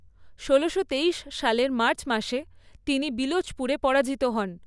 ষোলোশো তেইশ সালের মার্চ মাসে তিনি বিলোচপুরে পরাজিত হন।